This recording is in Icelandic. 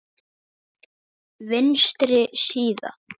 Vinstri síða